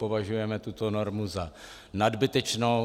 Považujeme tuto normu za nadbytečnou.